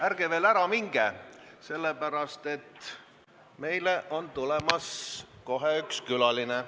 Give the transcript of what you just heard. Ärge veel ära minge, sellepärast, et meile tuleb kohe üks külaline.